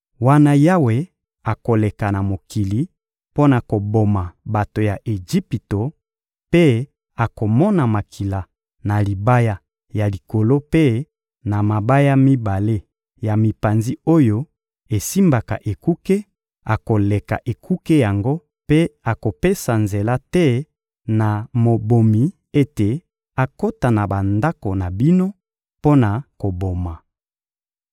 Wana Yawe akoleka na mokili mpo na koboma bato ya Ejipito mpe akomona makila na libaya ya likolo mpe na mabaya mibale ya mipanzi oyo esimbaka ekuke, akoleka ekuke yango mpe akopesa nzela te na mobomi ete akota na bandako na bino mpo na koboma.